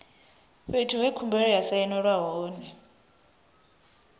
fhethu he khumbelo ya sainelwa hone